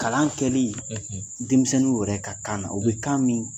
Kalan kɛli , ,denmisɛnnin yɛrɛ ka kan na,o bɛ kan min